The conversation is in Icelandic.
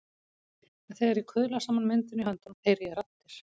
En þegar ég kuðla saman myndinni í höndunum heyri ég raddir.